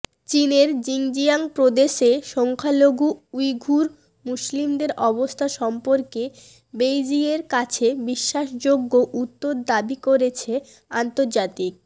চীনের জিনজিয়াং প্রদেশে সংখ্যালঘু উইঘুর মুসলিমদের অবস্থা সম্পর্কে বেইজিংয়ের কাছে বিশ্বাসযোগ্য উত্তর দাবি করেছে আন্তর্জাতিক